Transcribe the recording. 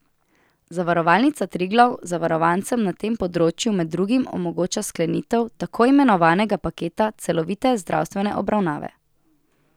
Zavarovalnica Triglav zavarovancem na tem področju med drugim omogoča sklenitev tako imenovanega paketa celovite zdravstvene obravnave.